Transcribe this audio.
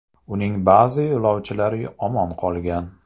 Uning ba’zi yo‘lovchilari omon qolgan.